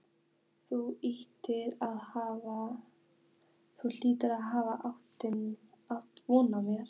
Þú hlýtur að hafa átt von á mér.